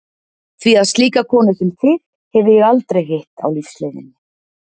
Því að slíka konu sem þig hefi ég aldrei hitt á lífsleiðinni.